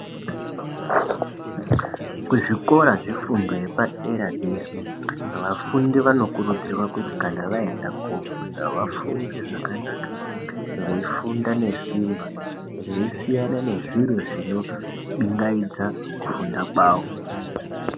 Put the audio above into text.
Kuzvikora zvefundo yapadera dera vafundi vanokurudzirwa kuti kana vaenda kunofunda vafunde zvakanaka veifunda ngesimba veisiyana nezviro zvino bingaidza kufunda kwavo.